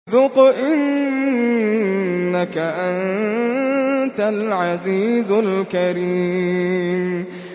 ذُقْ إِنَّكَ أَنتَ الْعَزِيزُ الْكَرِيمُ